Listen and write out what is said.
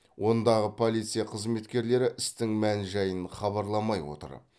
ондағы полиция қызметкерлері істің мән жайын хабарламай отыр